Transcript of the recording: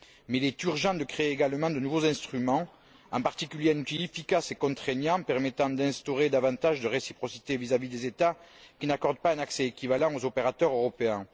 Mais il est urgent de créer également de nouveaux instruments, en particulier un outil efficace et contraignant permettant d'instaurer davantage de réciprocité vis à vis des États qui n'accordent pas un accès équivalent aux opérateurs européens.